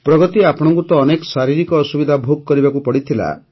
ପ୍ରଗତି ଆପଣଙ୍କୁ ତ ଅନେକ ଶାରୀରିକ ଅସୁବିଧା ଭୋଗ କରିବାକୁ ପଡ଼ିଥିଲା